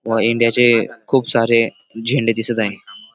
व इंडिया चे खूप सारे झेंडे दिसत आहे.